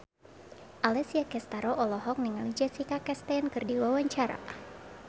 Alessia Cestaro olohok ningali Jessica Chastain keur diwawancara